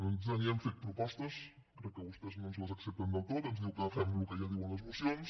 nosaltres hi hem fet propostes crec que vostès no ens les accepten del tot ens diu que fem el que ja diuen les mocions